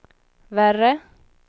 värre